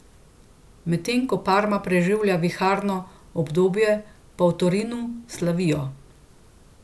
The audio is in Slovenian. Medtem ko Parma preživlja viharno obdobje, pa v Torinu slavijo.